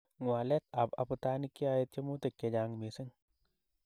Ngwalet ab abutanik keyai tyemutik chechang missing.